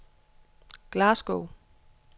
Glasgow